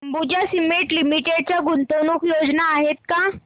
Ambuja cement limited च्या गुंतवणूक योजना आहेत का